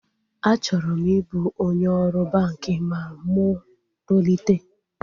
Achọrọ m ịbụ onye ọrụ banki ma mụ tolite